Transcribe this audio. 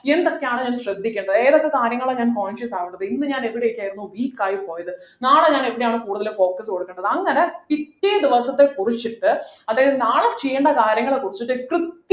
എന്തൊക്കെയാണ് ഞാൻ ശ്രദ്ധിക്കേണ്ടത് ഏതൊക്കെ സാധനങ്ങളാണ് ഞാൻ conscious ആവേണ്ടത് ഇന്ന് ഞാൻ എവിടെയൊക്കെയായിരുന്നു weak ആയി പോയത് നാളെ ഞാൻ എവിടെയൊക്കെയാണ് കൂടുതൽ focus കൊടുക്കേണ്ടത് അങ്ങനെ പിറ്റേദിവസത്തെക്കുറിചിട്ട് അതായത്നാളെ ചെയ്യേണ്ട കാര്യങ്ങളെ കുറിച്ചിട്ട് കൃത്യ